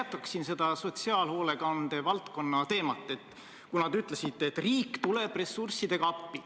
Ma jätkaksin seda sotsiaalhoolekande valdkonna teemat, kuna te ütlesite, et riik tuleb ressurssidega appi.